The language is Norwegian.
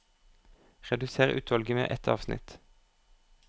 Redusér utvalget med ett avsnitt